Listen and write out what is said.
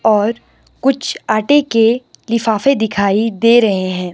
और कुछ आटे के लिफाफे दिखाई दे रहे हैं।